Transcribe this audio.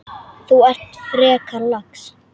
Þú ert frekar lax.